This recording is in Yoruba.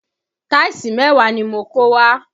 Táìsì mẹ́wàá ni mo kó wá